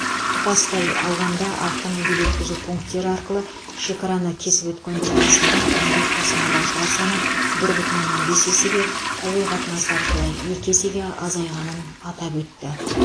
тұтастай алғанда автомобиль өткізу пунктері арқылы шекараны кесіп өткендер арасында індет тасымалдаушылар саны бір бүтін оннан бес есеге әуе қатынасы арқылы екі есеге азайғанын атап өтті